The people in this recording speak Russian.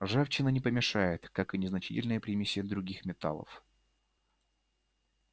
ржавчина не помешает как и незначительные примеси других металлов